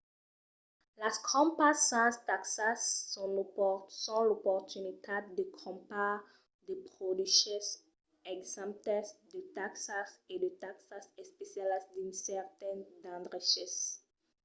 las crompas sens taxas son l’oportunitat de crompar de produches exemptes de taxas e de taxas especialas dins cèrtes d'endreches